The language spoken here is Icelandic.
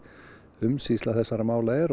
umsýsla þessarra mála er